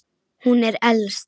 Hún er elst.